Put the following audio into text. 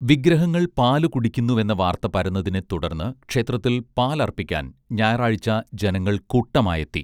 വിഗ്രഹങ്ങൾ പാലു കുടിക്കുന്നുവെന്ന വാർത്ത പരന്നതിനെ തുടർന്ന് ക്ഷേത്രത്തിൽ പാൽ അർപ്പിക്കാൻ ഞായറാഴ്ച ജനങ്ങൾ കൂട്ടമായെത്തി